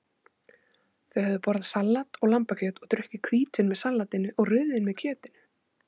Þau höfðu borðað salat og lambakjöt og drukkið hvítvín með salatinu og rauðvín með kjötinu.